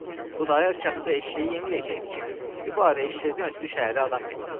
Xudayar kəndə eşşəyi yeməyəcəkdi ki, dübarə eşşəkdən ötrü şəhərə adam getsin.